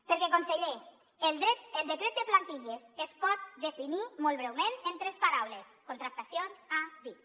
perquè conseller el decret de plantilles es pot definir molt breument en tres paraules contractacions a dit